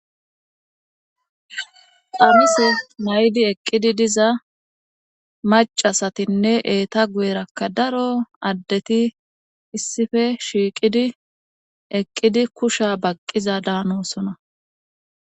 amise maydi eqqidi diza macasatinne eeta gueerakka daro addeti issife shiiqidi eqqidi kusha baqqiza daanosona